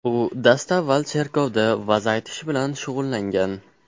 U dastavval cherkovda va’z aytish bilan shug‘ullangan.